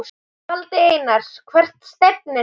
Valdi Einars Hvert stefnir þú?